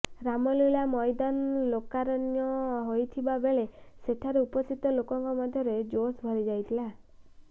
ରାମଲୀଳା ମଇଦାନ ଲୋକାରଣ୍ୟ ହୋଇଥିବା ବେଳେ ସେଠାରେ ଉପସ୍ଥିତ ଲୋକଙ୍କ ମଧ୍ୟରେ ଜୋସ୍ ଭରିଯାଇଥିଲା